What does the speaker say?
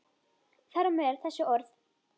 Þar á meðal þessi orð.